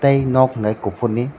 tei nog hingke kopor ni.